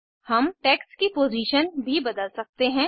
हम टेक्स्ट की पोज़ीशन भी बदल सकते हैं